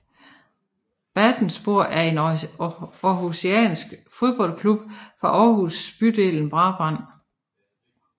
Vatanspor er en aarhusiansk fodboldklub fra Aarhus bydelen Brabrand